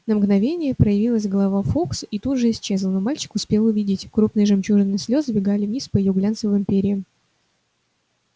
на мгновение проявилась голова фоукса и тут же исчезла но мальчик успел увидеть крупные жемчужины слёз сбегали вниз по её глянцевым перьям